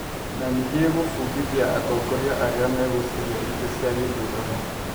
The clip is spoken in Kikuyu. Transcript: Na nĩ gĩgũbundithia atongoria arĩa megũcaria itĩ cia gĩthurano.